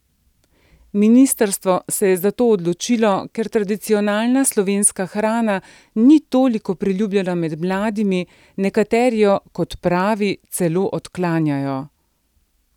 Ministrstvo se je za to odločilo, ker tradicionalna slovenska hrana ni toliko priljubljena med mladimi, nekateri jo, kot pravi, celo odklanjajo.